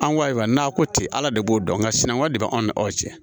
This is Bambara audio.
An ko ayiwa n'a ko ten ala de b'o dɔn nka sinankunya de bɛ anw ni aw cɛ